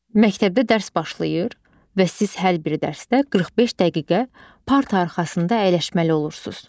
Məktəbdə dərs başlayır və siz hər bir dərsdə 45 dəqiqə parta arxasında əyləşməli olursunuz.